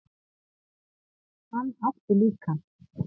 Hann átti líka